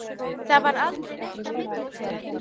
Það varð aldrei neitt á milli þeirra.